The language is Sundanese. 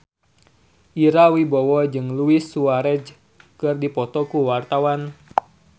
Ira Wibowo jeung Luis Suarez keur dipoto ku wartawan